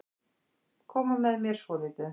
Koma með mér svolítið.